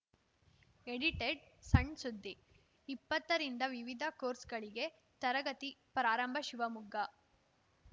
edited ಸಣ್‌ಸುದ್ದಿ ಇಪ್ಪತ್ತರಿಂದ ವಿವಿಧ ಕೋರ್ಸ್‌ಗಳಿಗೆ ತರಗತಿ ಪ್ರಾರಂಭ ಶಿವಮೊಗ್ಗ